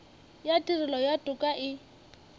ya tirelo ya toka e